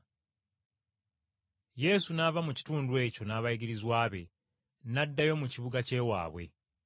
Yesu n’ava mu kitundu ekyo n’abayigirizwa be n’addayo mu kibuga ky’ewaabwe.